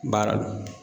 Baara do